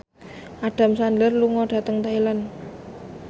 Adam Sandler lunga dhateng Thailand